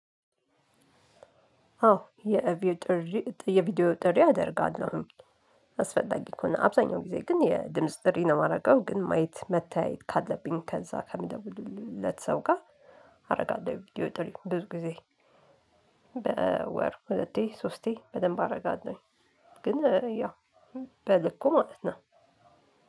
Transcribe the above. አዎ የቪዲዮ ጥሪ የቪዲዮ ጥሪ አደርጋለሁ። አስፈላጊ ከሆነ አብዛኛው ጊዜ ግን የድምጽ ጥሪ ነው የማደርገው ግን ማየት መታየት ካለብኝ ከዛ ከምደውልለት ሰው ጋር። አረጋለው የቪድዮ ጥሪ ነው ብዙ ጊዜ። በወር ሁለቴ ሶስቴ በደንብ አረጋለው። ግን ያው በልኩ ማለት ነው